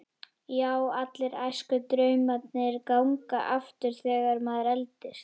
Já, allir æskudraumarnir ganga aftur þegar maður eldist.